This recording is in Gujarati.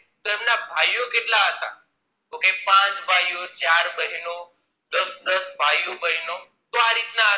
જો કે પાંચ ભાઈઓ ચાર બહેનો દસ દસ ભાઈઓ-બહેનો તો આ રીત ના